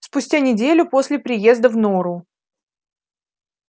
спустя неделю после приезда в нору